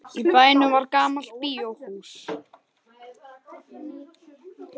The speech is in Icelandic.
Í bænum var gamalt bíóhús.